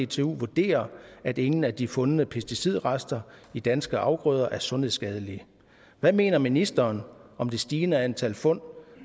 dtu vurderer at ingen af de fundne pesticidrester i danske afgrøder er sundhedsskadelige hvad mener ministeren om det stigende antal fund